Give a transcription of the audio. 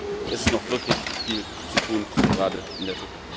Demokratisch Es ist noch wirklich viel zu tun, gerade in der Türkei.